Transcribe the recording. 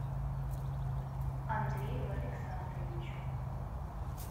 андрею александровичу